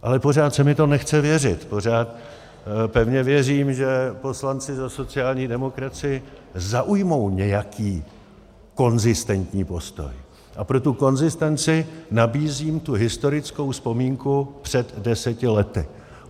Ale pořád se mi to nechce věřit, pořád pevně věřím, že poslanci za sociální demokracii zaujmou nějaký konzistentní postoj, a pro tu konzistenci nabízím tu historickou vzpomínku před deseti lety.